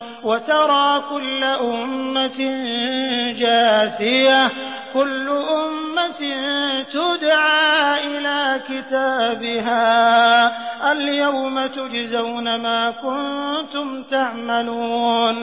وَتَرَىٰ كُلَّ أُمَّةٍ جَاثِيَةً ۚ كُلُّ أُمَّةٍ تُدْعَىٰ إِلَىٰ كِتَابِهَا الْيَوْمَ تُجْزَوْنَ مَا كُنتُمْ تَعْمَلُونَ